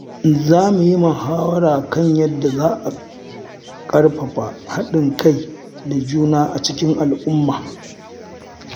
Za mu yi muhawara kan yadda za a ƙarfafa haɗin kai da juna a cikin al'umma.